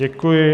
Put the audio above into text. Děkuji.